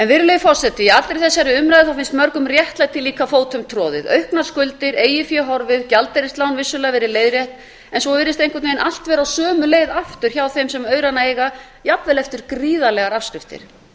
virðulegi forseti í allri þessari umræðu finnst mörgum réttlætið líka fótum troðið auknar skuldir eigið fé horfið gjaldeyrislán vissulega verið leiðrétt en svo virðist einhvern veginn allt vera á sömu leið aftur hjá þeim sem aurana eiga jafnvel eftir gríðarlegar afskriftir